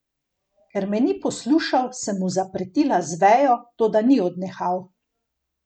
Ker me ni poslušal, sem mu zapretila z vejo, toda ni odnehal.